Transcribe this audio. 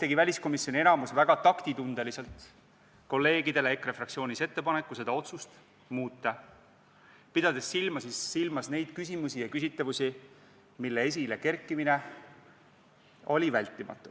tegi väliskomisjoni enamus väga taktitundeliselt kolleegidele EKRE fraktsioonist ettepaneku seda otsust muuta, pidades silmas neid küsimusi ja küsitavusi, mille esilekerkimine oli vältimatu.